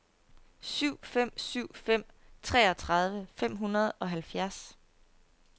syv fem syv fem treogtredive fem hundrede og halvfjerds